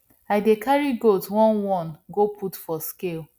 i dey carry goat oneone go put for scale